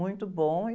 Muito bom e...